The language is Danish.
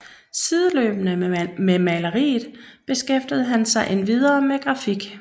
Sideløbende med maleriet beskæftigede han sig endvidere med grafik